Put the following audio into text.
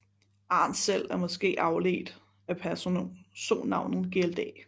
Arn selv er måske afledt af personnavnet glda